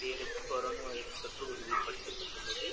பேருக்கு corona virus தொற்று உறுதிப்படுத்தப்பட்டுள்ளது